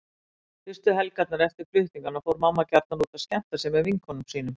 Fyrstu helgarnar eftir flutningana fór mamma gjarnan út að skemmta sér með vinkonum sínum.